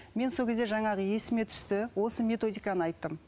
мен сол кезде жаңағы есіме түсті осы методиканы айттым